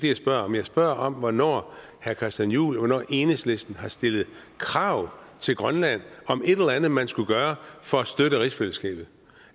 jeg spørger om jeg spørger om hvornår herre christian juhl og hvornår enhedslisten har stillet krav til grønland om et eller andet man skulle gøre for at støtte rigsfællesskabet